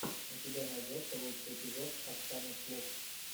у тебя найдется лучший эпизод оксаны слуфф